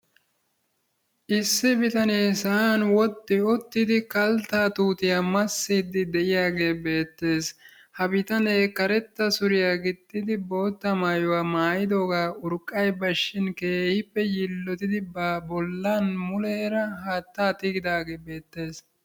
Issi bitanee sa'an wodhdhi uttidi kalttaa tuutiyaa massiide de'iyaage beettees. ha bitanee karetta suriyaa gixxidi bootta maayuwaa maayidooga urqqay bashshin keehippe yiillotidi ba bollan muleera haatta tigidaage beettees.